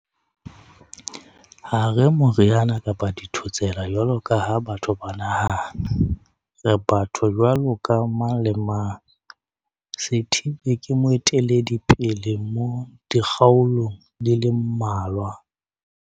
"Ha re moriana kapa dithotsela jwalo ka ha batho ba nahana. Re batho jwaloka mang le mang."Sithibe ke moeteledipele mo dikgaolong di le mmalwa.